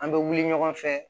An bɛ wuli ɲɔgɔn fɛ